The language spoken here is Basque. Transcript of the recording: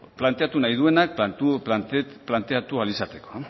planteatu nahi duenak planteatu ahal izateko